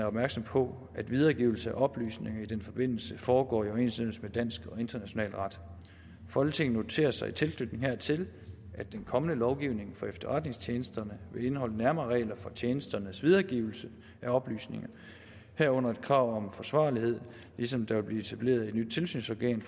opmærksomme på at videregivelse af oplysninger i den forbindelse foregår i overensstemmelse med dansk og international ret folketinget noterer sig i tilknytning hertil at den kommende lovgivning for efterretningstjenesterne vil indeholde nærmere regler for tjenesternes videregivelse af oplysninger herunder et krav om forsvarlighed ligesom der vil blive etableret et nyt tilsynsorgan